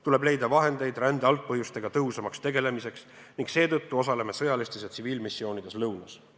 Tuleb leida vahendeid rände algpõhjustega tõhusamaks tegelemiseks ning seetõttu osaleme sõjalistes ja tsiviilmissioonides lõunas.